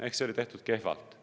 Ehk see oli tehtud kehvalt.